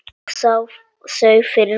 Og sá þau fyrir mér.